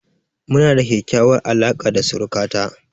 Mu na da ƙyaƙyawar alaka da suruka ta